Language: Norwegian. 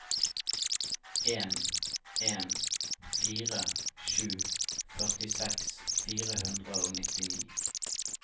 en en fire sju førtiseks fire hundre og nittini